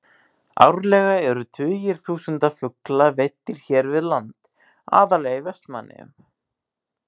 Árlega eru tugir þúsunda fugla veiddir hér við land, aðallega í Vestmannaeyjum.